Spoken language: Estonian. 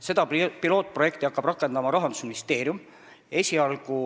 Seda pilootprojekti hakkab rakendama Rahandusministeerium.